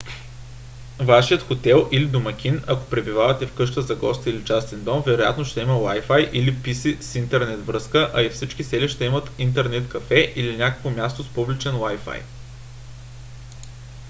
вашият хотел или домакини ако пребивавате в къща за гости или частен дом вероятно ще има wifi или pc с интернет връзка а и всички селища имат интернет кафе или някакво място с публичен wifi